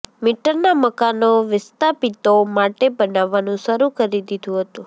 મીટરના મકાનો વિસ્તાપિતો માટે બનાવવાનું શરૂ કરી દીધું હતું